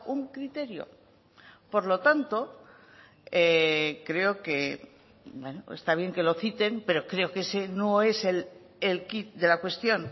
un criterio por lo tanto creo que está bien que lo citen pero creo que ese no es el quid de la cuestión